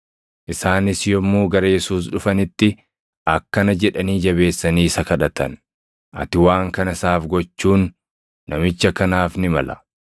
Isaanis yommuu gara Yesuus dhufanitti akkana jedhanii jabeessanii isa kadhatan; “Ati waan kana isaaf gochuun namicha kanaaf ni mala;